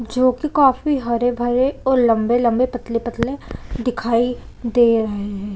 जो की काफी हरे-भरे और लम्बे-लम्बे पतले-पतले दिखाई दे रहे है।